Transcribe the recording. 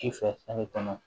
Ci fɛ kɔnɔ